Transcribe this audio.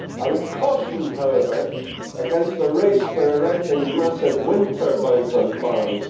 I would caution, however, against the race for erecting massive wind turbines on farms.